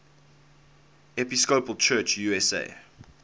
episcopal church usa